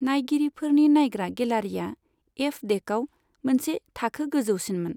नायगिरिफोरनि नायग्रा गेलारिया एफ डेकाव मोनसे थाखो गोजौसिनमोन।